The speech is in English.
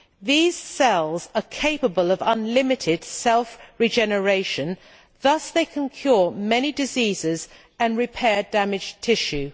These cells are capable of unlimited self regeneration, thus they can cure many diseases and repair damaged tissue.